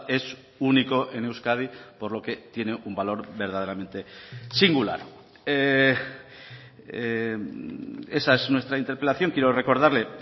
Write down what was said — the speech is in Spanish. es único en euskadi por lo que tiene un valor verdaderamente singular esa es nuestra interpelación quiero recordarle